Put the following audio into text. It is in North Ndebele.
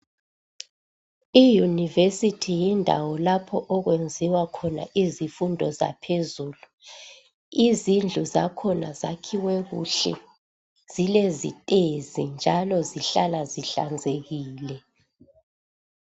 Iyunivesithi yindawo lapho okwenziwa khona izifundo zaphezulu. Izindlu zakhona zakhiwe kuhle zilezitezi njalo zihlala zihlanzekile.